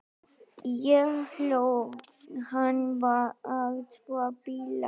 Ég hló, hann var svo bilaður.